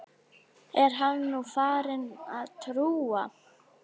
Er hann nú farinn að trúa?